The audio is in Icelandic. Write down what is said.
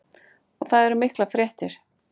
Og það eru miklar fréttir.